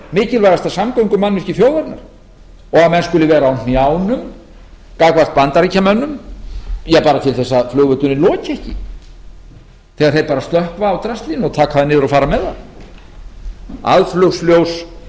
mikilvægasta samgöngumannvirki þjóðarinnar og að menn skuli vera á hnjánum gagnvart bandaríkjamönnum ja bara til þess að flugvöllurinn loki ekki þegar þeir fara að slökkva á draslinu og taka það niður og fara með það aðflugsljós